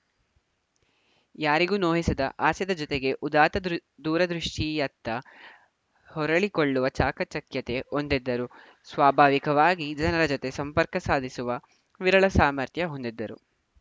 ಯಾರಿಗೂ ನೋಯಿಸದ ಹಾಸ್ಯದ ಜತೆಗೇ ಉದಾತ್ತ ದೂರದೃಷ್ಟಿಯತ್ತ ಹೊರಳಿಕೊಳ್ಳುವ ಚಾಕಚಕ್ಯತೆ ಹೊಂದಿದ್ದರು ಸ್ವಾಭಾವಿಕವಾಗಿ ಜನರ ಜತೆ ಸಂಪರ್ಕ ಸಾಧಿಸುವ ವಿರಳ ಸಾಮರ್ಥ್ಯ ಹೊಂದಿದ್ದರು